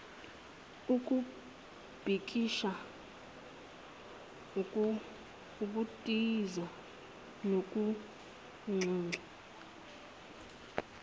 ukubhikisha ukutoyiza nokunxenxa